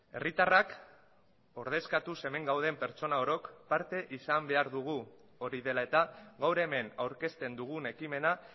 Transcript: herritarrak ordezkatuz hemen gauden pertsona orok parte izan behar dugu hori dela eta gaur hemen aurkezten dugun ekimena